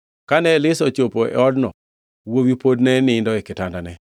Kane Elisha ochopo e odno wuowi pod ne nindo e kitandane.